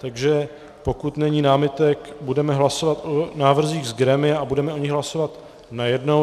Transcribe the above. Takže pokud není námitek, budeme hlasovat o návrzích z grémia a budeme o nich hlasovat najednou.